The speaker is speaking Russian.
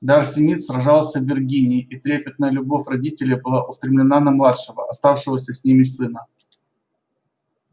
дарси мид сражался в виргинии и трепетная любовь родителей была устремлена на младшего оставшегося с ними сына